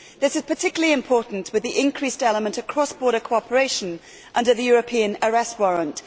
This is particularly important with the increased element of cross border cooperation under the European arrest warrant.